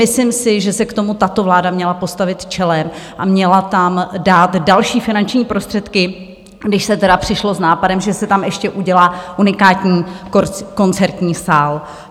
Myslím si, že se k tomu tato vláda měla postavit čelem a měla tam dát další finanční prostředky, když se tedy přišlo s nápadem, že se tam ještě udělá unikátní koncertní sál.